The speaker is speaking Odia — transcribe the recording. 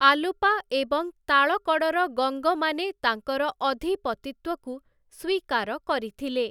ଆଲୁପା ଏବଂ ତାଳକଡ଼ର ଗଙ୍ଗମାନେ ତାଙ୍କର ଅଧିପତିତ୍ୱକୁ ସ୍ୱୀକାର କରିଥିଲେ ।